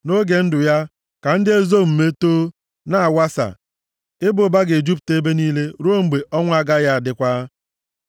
Nʼoge ndụ ya, ka ndị ezi omume too, na-awasa; ịba ụba ga-ejupụta ebe niile ruo mgbe ọnwa agaghị adịkwa.